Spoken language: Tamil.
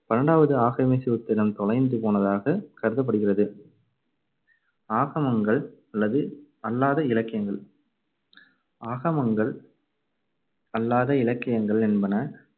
பன்னெண்டாவது ஆகம சூத்திரம் தொலைந்து போனதாகக் கருதப்படுகிறது. ஆகமங்கள் அல்லது அல்லாத இலக்கியங்கள் ஆகமங்கள் அல்லாத இலக்கியங்கள் என்பன